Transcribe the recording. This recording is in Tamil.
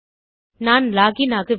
நான் லாக் இன் ஆகவில்லை